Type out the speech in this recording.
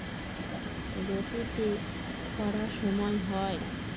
গতিতে করা সময় হয়